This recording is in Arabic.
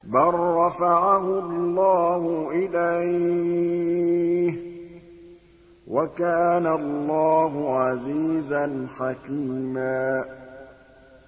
بَل رَّفَعَهُ اللَّهُ إِلَيْهِ ۚ وَكَانَ اللَّهُ عَزِيزًا حَكِيمًا